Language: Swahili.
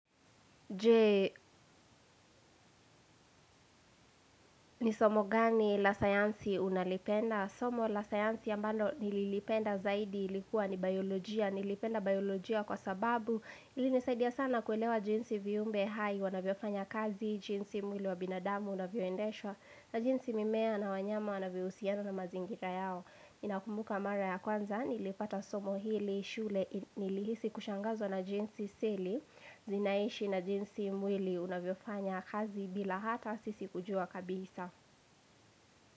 Je, ni somo gani la sayansi unalipenda? Somo la sayansi ambalo nililipenda zaidi ilikuwa ni biolojia, nilipenda biolojia kwa sababu ilinisaidia sana kuelewa jinsi viumbe hai, wanavyofanya kazi, jinsi mwili wa binadamu, unavyoendeshwa na jinsi mimea na wanyama, wanavyohusiana na mazingira yao nakumbuka mara ya kwanza, nilipata somo hili, shule, nilihisi kushangazwa na jinsi seli Zinaishi na jinsi mwili unavyofanya kazi bila hata sisi kujua kabisa.